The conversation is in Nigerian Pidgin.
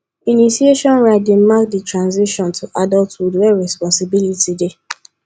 initiation rites dey mark di transition to adulthood where responsibility dey